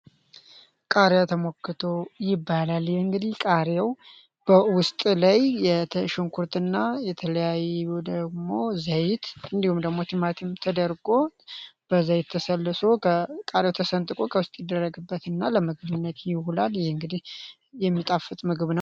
ይባላል የተሽንኩርትና የተለያዩ ደግሞ ዘይት እንዲሁም ተደርጎ ይደረግበትና ለምግብነት ይዉላል ይህ እንግዲህ የሚጣፍጥ ምግብ ነው